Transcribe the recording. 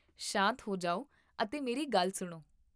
ਸ਼ਾਂਤ ਹੋ ਜਾਓ ਅਤੇ ਮੇਰੀ ਗੱਲ ਸੁਣੋ